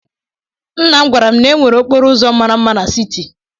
Nna m gwara m na e nwere okporo ụzọ mara mma n'siti.